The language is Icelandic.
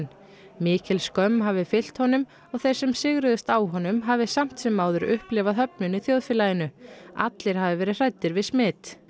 mikil skömm hafi fylgt honum og þeir sem sigruðust á honum hafi samt sem áður upplifað höfnun í þjóðfélaginu allir hafi verið hræddir við smit